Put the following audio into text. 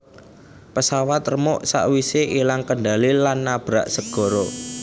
Pesawat remuk sak wise ilang kendali lan nabrak segara